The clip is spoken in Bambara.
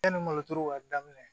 Yanni malo turu ka daminɛ